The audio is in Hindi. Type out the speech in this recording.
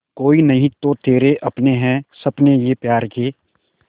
कोई नहीं तो तेरे अपने हैं सपने ये प्यार के